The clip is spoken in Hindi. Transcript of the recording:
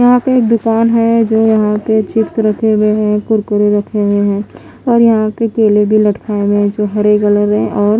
यहाँ पे एक दुकान है जो यहाँ पे चिप्स रखे हुए है कुरकुरे रखे हुए है और यहाँ पे केले भी लटकाए हुए है जो हरे कलर है और --